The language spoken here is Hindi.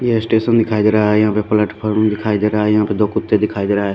ये स्टेशन दिखाई दे रहा है यहाँ पर प्लेटफोर्म दिखाई दे रहा है यहाँ पे दो कुत्ते दिखाई दे रहा है।